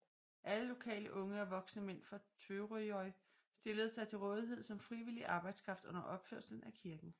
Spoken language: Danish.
Alle lokale unge og voksne mænd fra Tvøroyri stillede sig til rådighed som frivillig arbejdskraft under opførelsen af kirken